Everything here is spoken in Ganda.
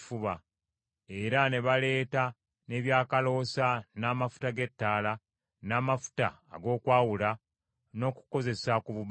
Era ne baleeta n’ebyakaloosa, n’amafuta g’ettaala, n’amafuta ag’okwawula n’okukozesa ku bubaane.